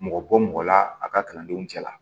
Mɔgɔ bɔ mɔgɔ la a ka kalandenw cɛla